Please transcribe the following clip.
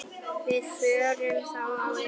Við förum þá á EM.